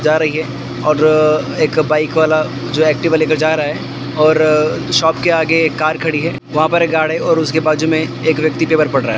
जा रही है और एक बाइक वाला जो एक्टिवा लेकर जा रहा है और शॉप के आगे एक कार खड़ी है वहां पर एक गार्ड है और उसके बाजू में एक व्यक्ति पेपर पढ़ रहा है।